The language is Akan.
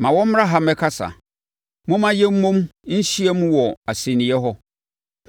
Ma wɔmmra ha mmɛkasa; momma yɛn mmom nhyia mu wɔ asɛnniiɛ hɔ.